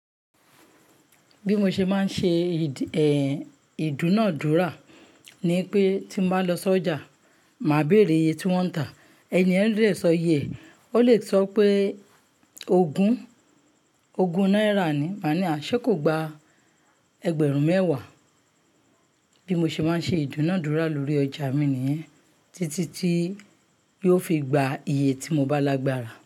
Bí mo ṣe máa ń ṣe, ìdúnadúrà ni pé tí m bá lọ sọ́jà, màá béèrè iye tí wọ́n ń tà. Ẹni yẹ́n a de sọ iye, ó le sọ pé ogún, ogún náírà ni. Màá ní, à ṣé kò gba ẹgbẹ̀rún mẹ́wàá. Bí mo ṣe máa ń ṣe ìdúnadúrà lórí ọjà mi nìyẹn títí tí yó fi gba iye tí mo bá lágbára.